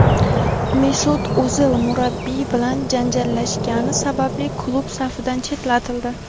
Mesut O‘zil murabbiy bilan janjallashgani sababli klub safidan chetlatildi;.